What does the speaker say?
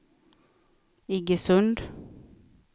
Iggesund